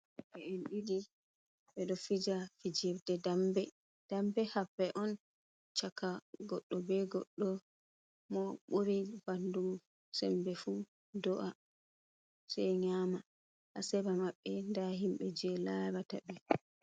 ɓeen ɗiɗi ɓeɗo fija fijirde dambe. Dambe hapre on chaka goɗɗo be goɗɗo. Mo buri bandum sembe fu do’a se nyama. Hasera maɓbe nda himbe je larata ɓe.